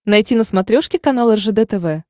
найти на смотрешке канал ржд тв